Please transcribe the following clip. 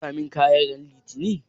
Zaka gama ɗinka mun kayana ran litini?